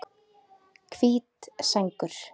Hvít sængur